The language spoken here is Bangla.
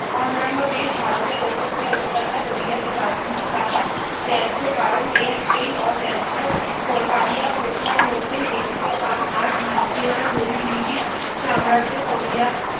অন্যান্য দেশ যে ভারতের ওপর যে অত্যাচার করেছে গান্ধীজী তাহা নেয্য কারণ এই এই অনেয্য পারিয়া কথার মধ্যেই দেখিতে পান আর ভারতীয় রা যদি ব্রিটিশ সাম্রাজ্যের পড়িয়া